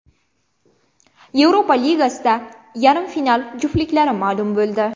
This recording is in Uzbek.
Yevropa Ligasida yarim final juftliklari ma’lum bo‘ldi !